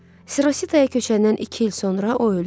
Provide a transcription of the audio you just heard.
Sirosidaya köçəndən iki il sonra o öldü.